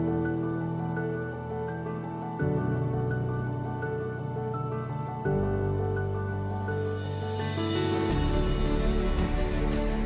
Torpaqlarımız işğaldan azad ediləndən sonra qısa müddətdə Füzuli şəhərinin baş planı hazırlandı, Prezident İlham Əliyev tərəfindən təsdiqlənib və 2021-ci ildə ictimaiyyətə təqdim edilib.